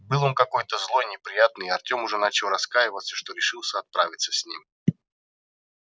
был он какой-то злой неприятный и артём уже начал раскаиваться что решился отправиться с ним